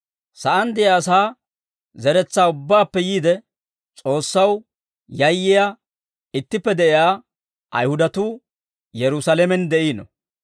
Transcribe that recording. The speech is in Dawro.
Sa'aan de'iyaa asaa zeretsaa ubbaappe yiide, S'oossaw yayyiyaa ittippe de'iyaa Ayihudatuu Yerusaalamen de'iino.